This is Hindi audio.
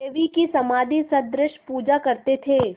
देवी की समाधिसदृश पूजा करते थे